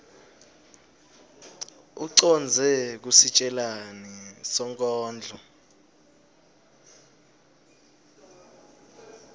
ucondze kusitjelani sonkondlo